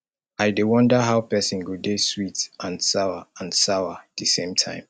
i dey wonder how person go dey sweet and sour and sour the same time